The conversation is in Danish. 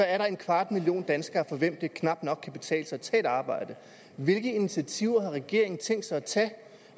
er der en kvart million danskere for hvem det knap nok kan betale sig at tage et arbejde hvilke initiativer har regeringen tænkt sig at tage